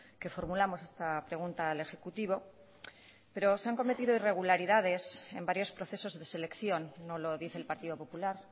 que formulamos esta pregunta al ejecutivo pero se han cometido irregularidades en varios procesos de selección no lo dice el partido popular